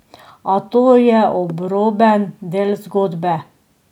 A to je obroben del zgodbe.